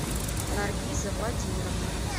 наргиза владимировна